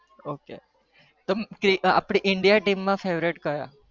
Okay આપડી india teem favourite ક્યાં